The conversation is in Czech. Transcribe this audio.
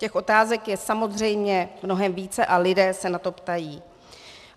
Těch otázek je samozřejmě mnohem více a lidé se na to ptají.